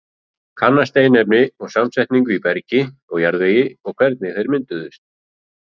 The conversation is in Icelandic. Kanna steinefni og samsetningu í bergi og jarðvegi og hvernig þeir mynduðust.